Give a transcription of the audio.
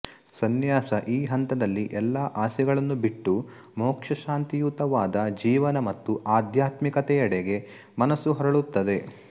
ಸನ್ಯಾಸ ಈ ಹಂತದಲ್ಲಿ ಎಲ್ಲಾ ಆಸೆಗಳನ್ನು ಬಿಟ್ಟು ಮೋಕ್ಷಶಾಂತಿಯುತವಾದ ಜೀವನ ಮತ್ತು ಆಧ್ಯಾತ್ಮಿಕತೆಯೆಡೆಗೆ ಮನಸ್ಸು ಹೊರಳುತ್ತದೆ